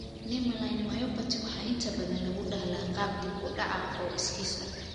Nemaline myopathy waxaa inta badan lagu dhaxlaa qaab dib-u-dhac ah oo iskiis ah.